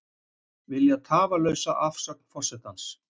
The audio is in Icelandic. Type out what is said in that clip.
Vilja tafarlausa afsögn forsetans